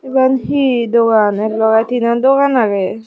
eben hi dogan ek logey tinan dogan agey.